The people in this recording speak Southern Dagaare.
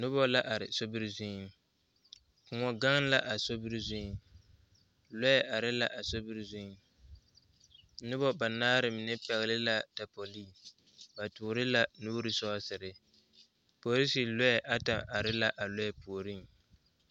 Noba la are sobiri zuŋ koɔ gaŋ la a sobiri zuŋ lɔɛ are la a sobiri zuŋ noba banaare mine pɛgle la tapoli ba toore la nuuri sɔɔsere polisiri lɔɛ ata are la a lɔɛ puoriŋ.